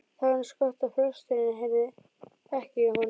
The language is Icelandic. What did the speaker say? Það var eins gott að presturinn heyrði ekki í honum.